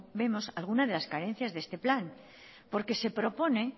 vemos alguna de las carencias de este plan porque se propone